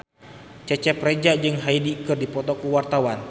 Cecep Reza jeung Hyde keur dipoto ku wartawan